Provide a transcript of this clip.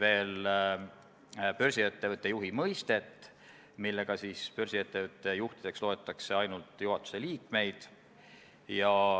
Nendega on esimese muudatusettepaneku teemad kõik läbi räägitud, sh artikkel 22, mis puudutab puudega inimesi.